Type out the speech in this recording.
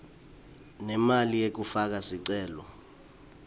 nemali yekufaka sicelo